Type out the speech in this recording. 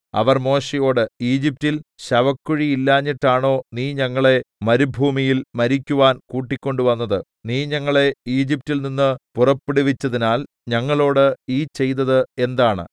അവർ മോശെയോട് ഈജിപ്റ്റിൽ ശവക്കുഴിയില്ലാഞ്ഞിട്ടാണോ നീ ഞങ്ങളെ മരുഭൂമിയിൽ മരിക്കുവാൻ കൂട്ടിക്കൊണ്ടുവന്നത് നീ ഞങ്ങളെ ഈജിപ്റ്റിൽ നിന്ന് പുറപ്പെടുവിച്ചതിനാൽ ഞങ്ങളോട് ഈ ചെയ്തത് എന്താണ്